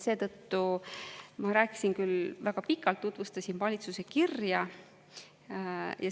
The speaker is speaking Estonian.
Seetõttu ma rääkisin küll väga pikalt, tutvustasin valitsuse kirja.